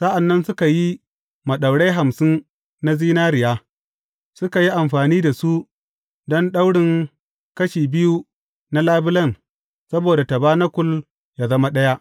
Sa’an nan suka yi maɗaurai hamsin na zinariya, suka yi amfani da su don daurin kashi biyu na labulen saboda tabanakul yă zama ɗaya.